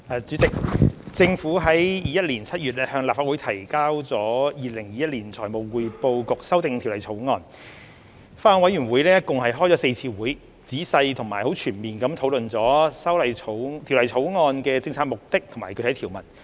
主席，政府在2021年7月向立法會提交《2021年財務匯報局條例草案》後，法案委員會共舉行了4次會議，仔細並全面地討論了《條例草案》的政策目的和具體條文。